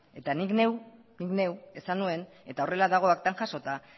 eta ni neuk esan nuen eta horrela dago aktan jasota